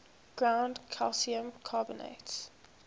ground calcium carbonate